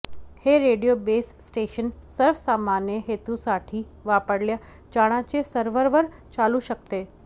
हे radio base station सर्वसामान्य हेतूसाठी वापरल्या जाणाऱ्या सर्व्हरवर चालू शकते